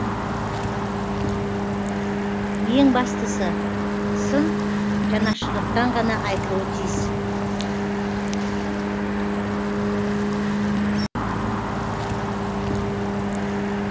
ең бастысы сын жанашырлықтан ғана айтылуы тиіс